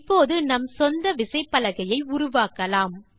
இப்போது நம் சொந்த விசைப்பலகையை உருவாக்கலாம்